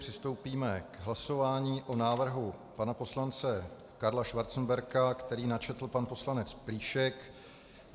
Přistoupíme k hlasování o návrhu pana poslance Karla Schwarzenberga, který načetl pan poslanec Plíšek.